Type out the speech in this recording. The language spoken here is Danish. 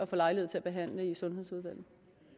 få lejlighed til at behandle det i sundhedsudvalget